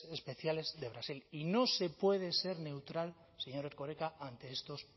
especiales de brasil y no se puede ser neutral señor erkoreka ante estos